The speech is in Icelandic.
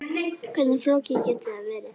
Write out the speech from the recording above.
Hversu flókið getur það verið?